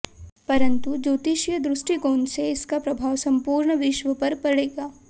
परंतु ज्योतिषीय दृष्टिकोण से इसका प्रभाव संपूर्ण विश्व पर पड़ेगा